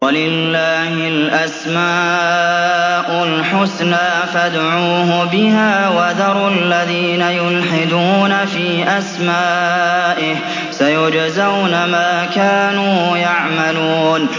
وَلِلَّهِ الْأَسْمَاءُ الْحُسْنَىٰ فَادْعُوهُ بِهَا ۖ وَذَرُوا الَّذِينَ يُلْحِدُونَ فِي أَسْمَائِهِ ۚ سَيُجْزَوْنَ مَا كَانُوا يَعْمَلُونَ